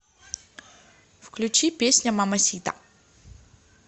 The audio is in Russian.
включи песня мамасита